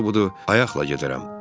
Yaxşısı budur, ayaqla gedərəm.